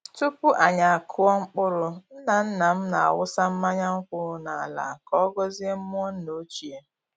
Tupu anyi akụọ mkpụrụ, nna-nna m na-awụsa mmanya nkwụ n’ala ka ọ gọzie mmụọ nna ochie.